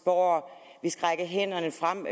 og at vi skal række hænderne frem